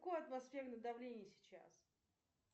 какое атмосферное давление сейчас